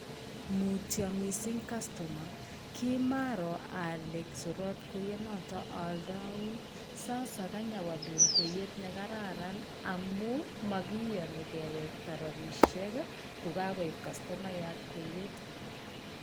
Mutyo mising cusomer. Kimaaro ale surot kweyonotok aaldoun. Sasa kanyawalun kweyet ne kararan amu makiyoni kewekta rabisiek ko kakoiib kastomayat kweyet.